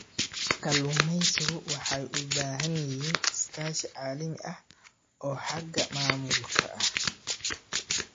Kalluumaysigu waxay u baahan yihiin iskaashi caalami ah oo xagga maamulka ah.